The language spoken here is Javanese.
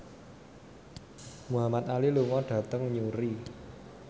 Muhamad Ali lunga dhateng Newry